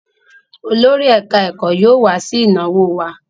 Olórí ẹ̀ká-ẹ̀kọ́ yóò wá sí ìnáwó wa